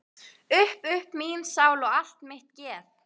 Upp upp mín sál og allt mitt geð!